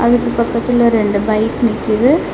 அதுக்கு பக்கத்துல ரெண்டு பைக் நிக்கிது.